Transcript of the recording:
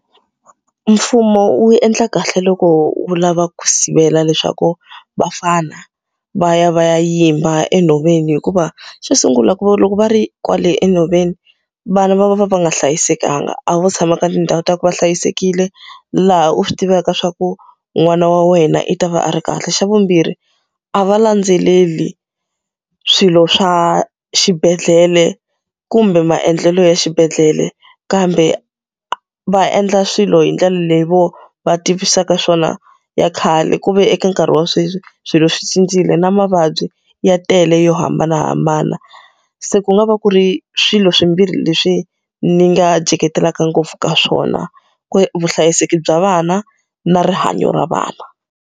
Mfumo wu endla kahle loko wu lava ku sivela leswaku vafana va ya va ya yimba enhoveni hikuva, xo sungula ku loko va ri kwale enhoveni, vana va va va va nga hlayisekanga. A vo tshama ka tindhawu ta ku va hlayisekile laha u swi tivaka leswaku n'wana wa wena i ta va a ri kahle. Xa vumbirhi, a va landzeleli swilo swa xibedhlele kumbe maendlelo ya xibedhlele. Kambe va endla swilo hi ndlela leyi vona va tivisaka swona ya khale, ku ve eka nkarhi wa sweswi, swilo swi cincile na mavabyi ya tele yo hambanahambana. Se ku nga va ku ri swilo swimbirhi leswi ndzi nga jeketelaka ngopfu ka swona. Ka vuhlayiseki bya vana, na rihanyo ra vana.